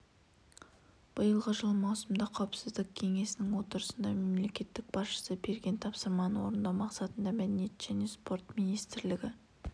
биылғы жылы маусымда қауіпсіздік кеңесінің отырысында мемлекет басшысы берген тапсырманы орындау мақсатында мәдениет және спорт министрлігі